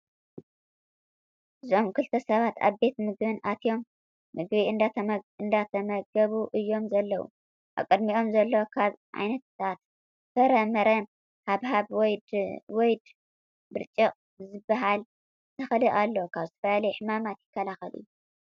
እዞም ክልተ ሰባት ኣብ ቤት ምግቢ ኣትዮ ምግቢ እንዳተመገቡ እዮም ዘለው። ኣብ ቀድሚኦም ዘሎ ካብ ዓይነታት ፈረ-ምረ ሃብሃብ ወይ ድ ብርጭቅ ዝበሃል ተኽሊ ኣሎ። ካብ ዝተፈላለዩ ሕማማት ይከላለኸል እዩ።